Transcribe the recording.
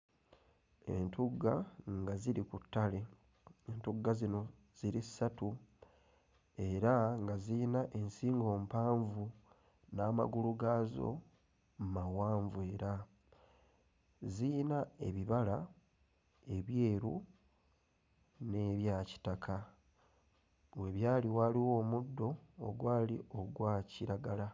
Entugga nga ziri ku ttale entugga zino ziri ssatu era nga ziyina nsingo mpanvu n'amagulu gaazo mawanvu era ziyina ebibala ebyeru n'ebya kitaka we byali waaliwo omuddo ogwali ogwa kiragala.